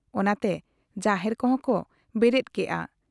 ᱚᱱᱟᱛᱮ ᱡᱟᱦᱮᱨ ᱠᱚᱦᱚᱸ ᱠᱚ ᱵᱮᱨᱮᱫ ᱠᱮᱜ ᱟ᱾